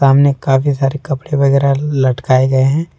सामने काफी सारे कपड़े वगैरह लटकाए गए हैं।